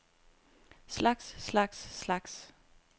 slags slags slags